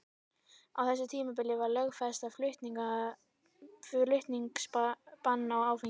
Á þessu tímabili var lögfest aðflutningsbann á áfengi.